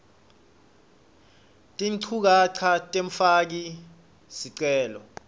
tinchukaca temfaki sicelo